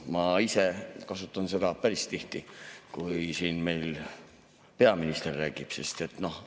Ma ise kasutan seda päris tihti, kui peaminister siin räägib.